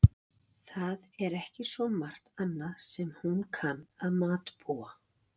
Það er ekki svo margt annað sem hún kann að matbúa.